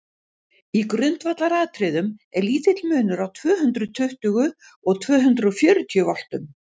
í grundvallaratriðum er lítill munur á tvö hundruð tuttugu og tvö hundruð fjörutíu voltum